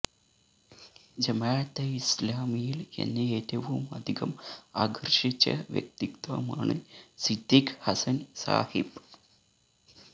ജമാഅത്തെ ഇസ്ലാമിയില് എന്നെ ഏറ്റവുമധികം ആകര്ഷിച്ച വ്യക്തിത്വമാണ് സിദ്ദീഖ് ഹസന് സാഹിബ്